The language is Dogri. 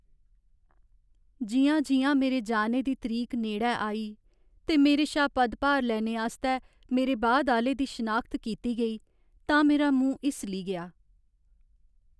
जि'यां जि'यां मेरे जाने दी तरीक नेड़ै आई ते मेरे शा पदभार लैने आस्तै मेरे बाद आह्‌ले दी शनाखत कीती गेई तां मेरा मूंह् हिस्सली गेआ।